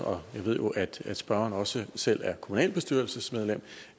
jeg ved jo at spørgeren også selv er kommunalbestyrelsesmedlem